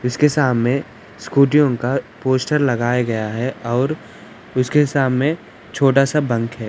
इसके सामने स्कूतियो का पोस्टर लगाया गया है|